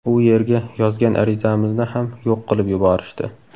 U yerga yozgan arizamizni ham yo‘q qilib yuborishdi.